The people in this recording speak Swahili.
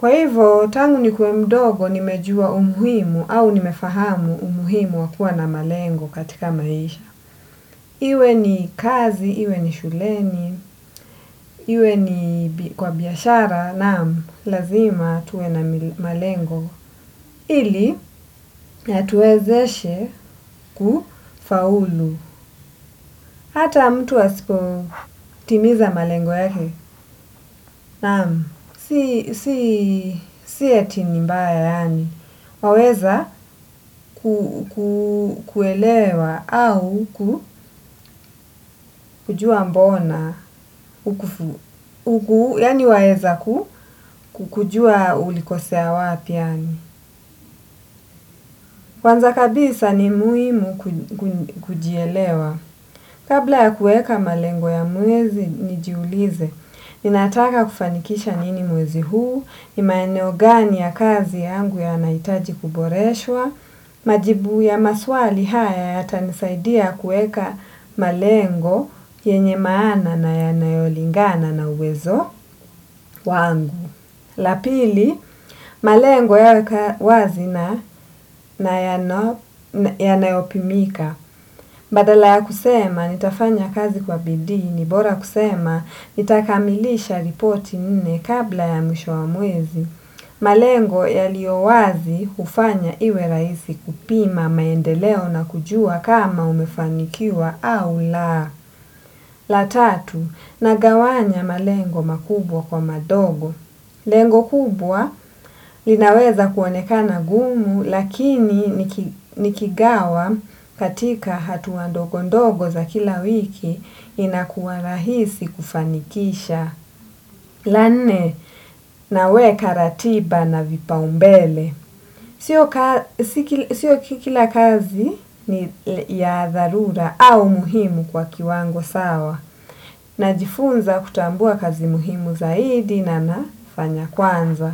Kwa hivyo, tangu nikuwe mdogo nimejua umuhimu au nimefahamu umuhimu wa kuwa na malengo katika maisha. Iwe ni kazi, iwe ni shuleni, iwe ni kwa biashara, naam, lazima tuwe na malengo. Ili, yatuwezeshe kufaulu. Hata mtu asipotimiza malengo yake. Naam. Si ati ni mbaya yaani, waweza kuelewa au kujua mbona, yaani waeza kujua ulikosea wapi yaani kwanza kabisa ni muhimu kujielewa. Kabla ya kuweka malengo ya mwezi nijiulize, ninataka kufanikisha nini mwezi huu, ni maeneo gani ya kazi yangu yanahitaji kuboreshwa, majibu ya maswali haya yatanisaidia kuweka malengo yenye maana na yanayolingana na uwezo wangu. La pili, malengo ya wazi na yanayopimika. Badala ya kusema, nitafanya kazi kwa bidii ni, bora kusema, nitakamilisha ripoti nne kabla ya mwisho wa mwezi. Malengo yaliyo wazi hufanya iwe rahisi kupima maendeleo na kujua kama umefanikiwa au la. La tatu, nagawanya malengo makubwa kwa madogo. Lengo kubwa linaweza kuonekana gumu lakini nikigawa katika hatua ndogondogo za kila wiki inakuwa rahisi kufanikisha. La nne, naweka ratiba na vipaumbele. Sio kila kazi ni ya dharura au muhimu kwa kiwango sawa. Najifunza kutambua kazi muhimu zaidi na nafanya kwanza.